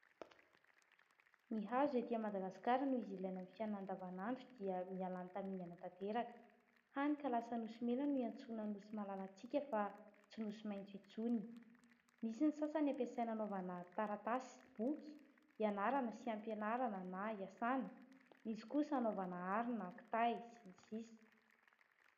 ny hazo ety a madagaskara no izy ilai namin'ny fiainanan-davanandro dia mialàny tamiiny anatanteraka hany kalasa nosy mena no hiantsoana ny nosy malalantsika fa tsy nosy maintso intsony misy ny sasany ampasainanaovana taratasy boky hianarana sy ampianarana na hiasana nisy kosa hanaovana arina akitahy sy ny sisa